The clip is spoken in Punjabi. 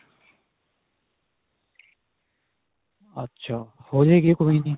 ਅੱਛਾ ਹੋ ਜਾਵੇਗੀ, ਕੋਈ ਨਹੀਂ.